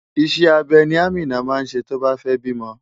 Iṣẹ́ abẹ ni Amina máa ṣe tó bá fẹ́ bímọ.